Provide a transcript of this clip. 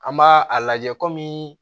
An b'a a lajɛ kɔmi